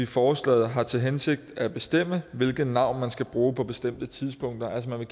forslaget har til hensigt at bestemme hvilket navn man skal bruge på bestemte tidspunkter altså man